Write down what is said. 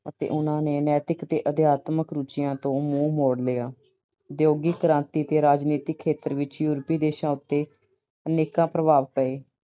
ਅਤੇ ਉਹਨਾਂ ਨੇ ਨੈਤਿਕ ਤੇ ਅਧਿਆਤਮਕ ਰੁਚੀਆਂ ਤੋਂ ਮੂੰਹ ਮੋੜ ਲਿਆ। ਉਦਯੋਗਿਕ ਕ੍ਰਾਂਤੀ ਦੇ ਰਾਜਨੀਤਿਕ ਖੇਤਰ ਵਿੱਚ European ਦੇਸ਼ਾਂ ਉੱਤੇ ਅਨੇਕਾਂ ਪ੍ਰਭਾਵ ਪਏ।